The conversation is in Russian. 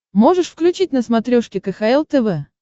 можешь включить на смотрешке кхл тв